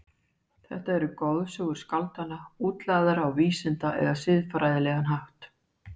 Þar eru goðsögur skáldanna útlagðar á vísinda- eða siðfræðilegan hátt.